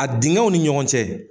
A dingɛw ni ɲɔgɔn cɛ